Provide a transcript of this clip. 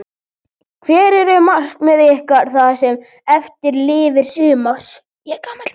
Hver eru markmið ykkar það sem eftir lifir sumars?